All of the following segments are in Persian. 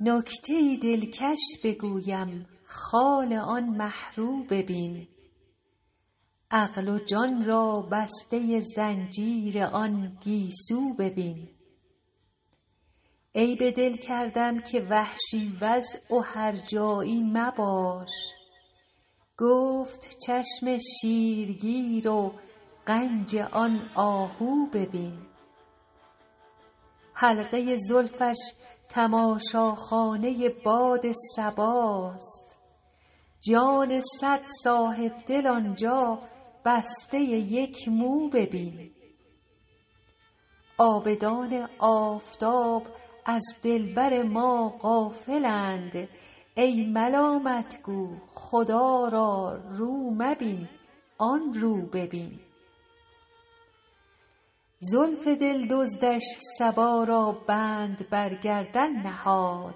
نکته ای دلکش بگویم خال آن مه رو ببین عقل و جان را بسته زنجیر آن گیسو ببین عیب دل کردم که وحشی وضع و هرجایی مباش گفت چشم شیرگیر و غنج آن آهو ببین حلقه زلفش تماشاخانه باد صباست جان صد صاحب دل آن جا بسته یک مو ببین عابدان آفتاب از دلبر ما غافل اند ای ملامت گو خدا را رو مبین آن رو ببین زلف دل دزدش صبا را بند بر گردن نهاد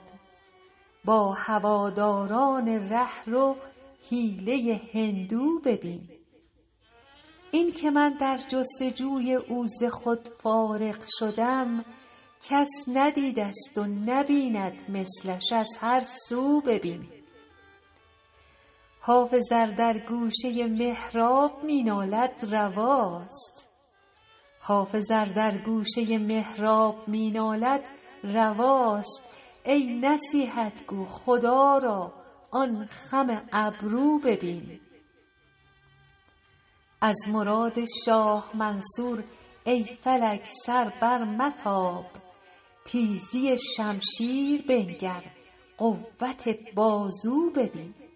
با هواداران ره رو حیله هندو ببین این که من در جست وجوی او ز خود فارغ شدم کس ندیده ست و نبیند مثلش از هر سو ببین حافظ ار در گوشه محراب می نالد رواست ای نصیحت گو خدا را آن خم ابرو ببین از مراد شاه منصور ای فلک سر برمتاب تیزی شمشیر بنگر قوت بازو ببین